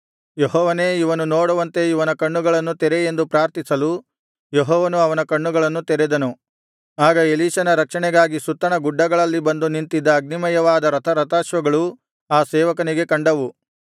ಯೆಹೋವನೇ ಇವನು ನೋಡುವಂತೆ ಇವನ ಕಣ್ಣುಗಳನ್ನು ತೆರೆ ಎಂದು ಪ್ರಾರ್ಥಿಸಲು ಯೆಹೋವನು ಅವನ ಕಣ್ಣುಗಳನ್ನು ತೆರೆದನು ಆಗ ಎಲೀಷನ ರಕ್ಷಣೆಗಾಗಿ ಸುತ್ತಣ ಗುಡ್ಡಗಳಲ್ಲಿ ಬಂದು ನಿಂತಿದ್ದ ಅಗ್ನಿಮಯವಾದ ರಥಾರಥಾಶ್ವಗಳು ಆ ಸೇವಕನಿಗೆ ಕಂಡವು